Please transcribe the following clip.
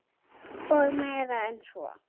Og meira en svo.